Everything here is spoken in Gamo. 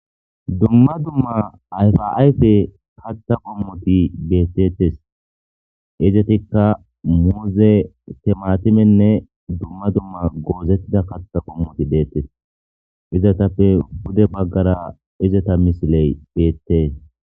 dumma dumma ayfa7ayfe katta qommuti beettettes izetikka muuze timatimenne dumma dumma goozettida katta qommuti deettes iza tappe bude baggara izeta misiley beettee